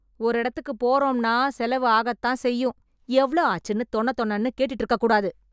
ஒரு எடத்துக்கு போறோம்னா செலவு ஆகத்தான் செய்யும்... எவ்ளோ ஆச்சுன்னு தொணதொணன்னு கேட்டுட்டு இருக்கக்கூடாது.